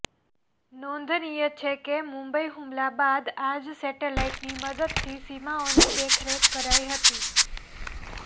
નોંધનીય છે કે મુંબઇ હુમલા બાદ આ જ સેટેલાઇટની મદદથી સીમાઓની દેખરેખ કરાઇ હતી